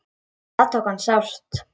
Það tók hana sárt.